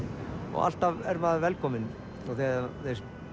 og alltaf er maður velkominn þegar